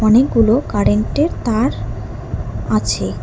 অনেকগুলো কারেন্টের তার আছে।